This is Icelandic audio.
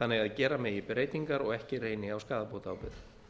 þannig að ár megi breytingar og ekki reyni á skaðabótaábyrgð